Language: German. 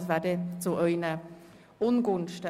das wäre dann zu Ihren Ungunsten.